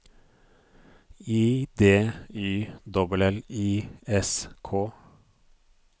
I D Y L L I S K